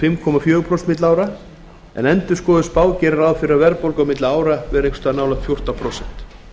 fimm komma fjögur prósent verðlagshækkanir en endurskoðuð spá gerir ráð fyrir að verðbólga milli ára verði fjórtán komma þrjú prósent